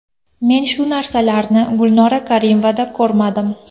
Men shu narsalarni Gulnora Karimovada ko‘rmadim.